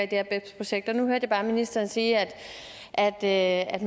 her bebs projekt nu hørte jeg ministeren sige at at